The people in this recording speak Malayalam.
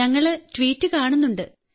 ഞങ്ങൾ ട്വീറ്റ് കാണുന്നുണ്ട്